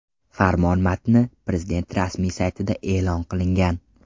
Farmon matni Prezident rasmiy saytida e’lon qilingan .